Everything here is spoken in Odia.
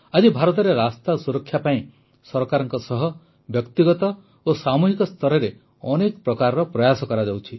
ଆଜି ଭାରତରେ ରାସ୍ତା ସୁରକ୍ଷା ପାଇଁ ସରକାରଙ୍କ ସହ ବ୍ୟକ୍ତିଗତ ଓ ସାମୂହିକ ସ୍ତରରେ ଅନେକ ପ୍ରକାରର ପ୍ରୟାସ କରାଯାଉଛି